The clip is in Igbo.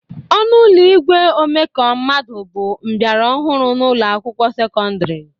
Ọnụ ụlọ igwe omeka mmadụ bụ mbịara ọhụrụ n'ụlọ akwụkwọ sekọndịrị